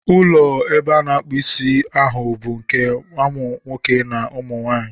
Ụlọ ebe a na-akpu Ịsị ahụ bụ nke umu nwoke na nwanyị.